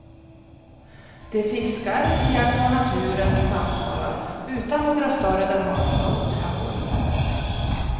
De fiskar, iakttar naturen och samtalar, utan några större dramatiska åthävor.